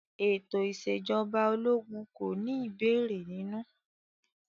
Ètò ìṣèjọba ológun kò ní ìbéèrè nínú.